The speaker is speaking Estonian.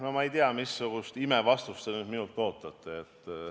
No ma ei tea, missugust imevastust te nüüd minult ootate.